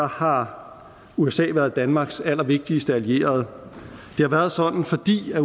har usa været danmarks allervigtigste allierede det har været sådan fordi